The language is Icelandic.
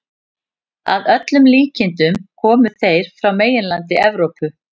Að öllum líkindum komu þeir frá meginlandi Evrópu.